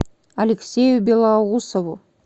алексею белоусову